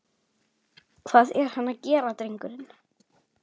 Hvað er hann að gera drengurinn?